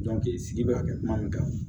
sigi bɛ ka kɛ kuma min kan